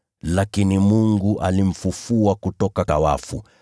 Lakini Mungu alimfufua kutoka kwa wafu.